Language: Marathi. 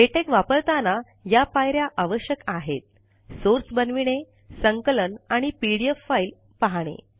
लेटेक वापरताना या पायऱ्या आवश्यक आहेत ः सोर्स बनविणे संकलन आणि पीडीएफ फाइल पहाणे